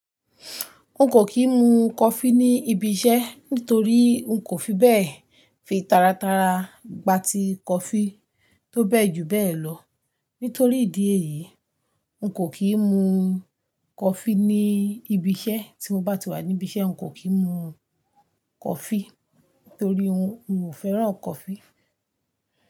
N kò kí ń mu coffee ní ibi iṣẹ́ nítorí n kò fi bẹ́ẹ̀ fi taratara gba ti coffee tó bẹ́ẹ̀ jù bẹ́ẹ̀ lọ. Nítorí ìdí èyí, n kò kí ń mu coffee ní ibi iṣẹ́. Tí mo bá ti wà níbí iṣẹ́, n kò kí ń mu coffee nítorí n ò fẹ́ràn coffee.